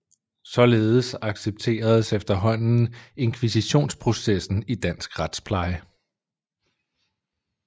Således accepteredes efterhånden invkisitionsprocessen i dansk retspleje